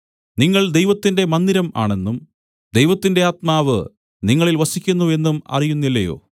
നിങ്ങൾ ദൈവത്തിന്റെ മന്ദിരം ആണെന്നും ദൈവത്തിന്റെ ആത്മാവ് നിങ്ങളിൽ വസിക്കുന്നു എന്നും അറിയുന്നില്ലയോ